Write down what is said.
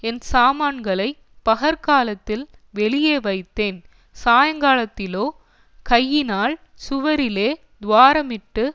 என் சாமான்களைப் பகற்காலத்தில் வெளியே வைத்தேன் சாயங்காலத்திலோ கையினால் சுவரிலே துவாரமிட்டு